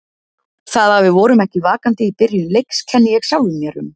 Það að við vorum ekki vakandi í byrjun leiks kenni ég sjálfum mér um.